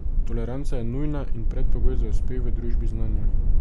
Toleranca je nujna in predpogoj za uspeh v družbi znanja.